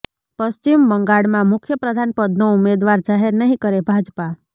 પશ્ચિમ બંગાળમાં મુખ્ય પ્રધાન પદનો ઉમેદવાર જાહેર નહીં કરે ભાજપા